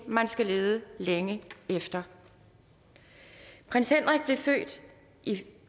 man skal lede længe efter prins henrik blev født i